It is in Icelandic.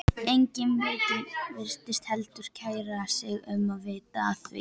Enginn virtist heldur kæra sig um að vita af því.